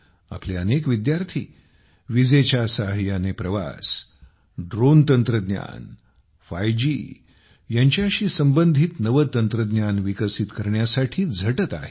आपले अनेक विद्यार्थी विजेच्या सहाय्याने प्रवास ड्रोन तंत्रज्ञान 5 जी यांच्याशी संबंधित नवे तंत्रज्ञान विकसित करण्यासाठी झटत आहेत